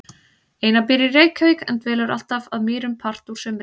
Einar býr í Reykjavík en dvelur alltaf að Mýrum part úr sumri.